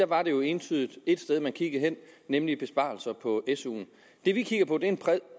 var det jo entydigt ét sted man kiggede hen nemlig besparelser på suen det vi kigger på er en bred